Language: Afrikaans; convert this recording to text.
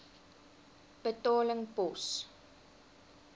betaling pos